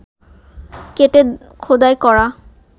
কেটে খোদাই করা